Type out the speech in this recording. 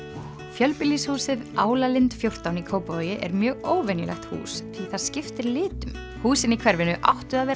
fjölbýlishúsið fjórtán í Kópavogi er mjög óvenjulegt hús því það skiptir litum húsin í hverfinu áttu að vera